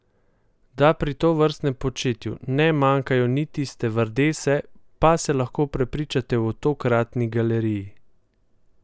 Da pri tovrstnem početju ne manjkajo niti stevardese, pa se lahko prepričate v tokratni galeriji!